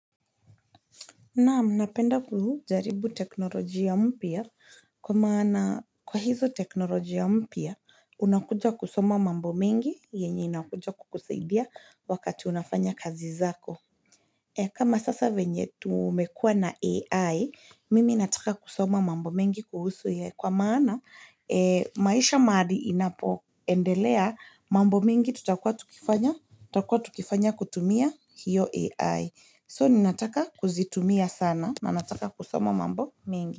Kwa hizo technologia mpya, unakuja kusoma mambo mengi yenye inakuja kusaidia wakati unafanya kazi zako. E kama sasa venye tumwekua na AI, mimi nataka kusoma mambo mengi kusu. Kwa maana, maisha mahali inapo endelea mambo mingi tutakwa tukifanya kutumia hiyo AI. So ninataka kuzitumia sana, nanataka kusoma mambo mengi.